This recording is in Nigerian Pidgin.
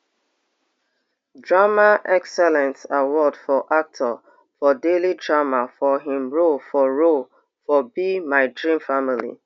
drama excellence award for actor for daily drama for im role for role for be my dream family